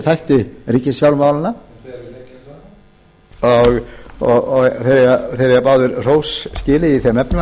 þætti ríkisfjármálanna þetta er miltisbrandur og þeir eiga báðir hrós skilið